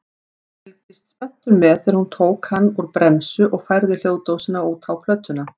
Fylgdist spenntur með þegar hún tók hann úr bremsu og færði hljóðdósina út á plötuna.